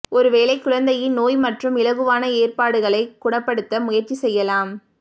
ஒருவேளை குழந்தையின் நோய் மற்றும் இலகுவான ஏற்பாடுகளை குணப்படுத்த முயற்சி செய்யலாம்